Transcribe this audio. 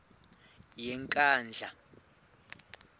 yenkandla